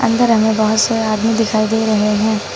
अंदर हमे बहोत से आदमी दिखाई दे रहे है।